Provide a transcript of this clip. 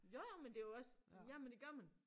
Jo jo men det jo også jamen det gør man